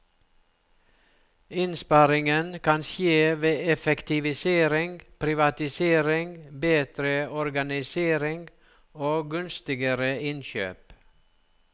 Innsparingen kan skje ved effektivisering, privatisering, bedre organisering og gunstigere innkjøp.